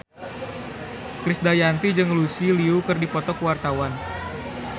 Krisdayanti jeung Lucy Liu keur dipoto ku wartawan